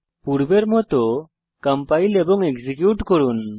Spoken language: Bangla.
পূর্বের মত কম্পাইল এবং এক্সিকিউট করুন